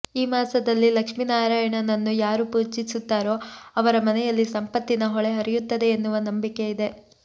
ಈ ಮಾಸದಲ್ಲಿ ಲಕ್ಷ್ಮಿ ನಾರಾಯಣನನ್ನು ಯಾರು ಪೂಜಿಸುತ್ತಾರೋ ಅವರ ಮನೆಯಲ್ಲಿ ಸಂಪತ್ತಿನ ಹೊಳೆ ಹರಿಯುತ್ತದೆ ಎನ್ನುವ ನಂಬಿಕೆ ಇದೆ